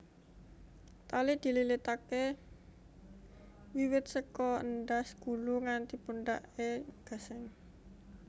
Tali dililitaké wiwit saka endhas gulu nganti pundhaké gasing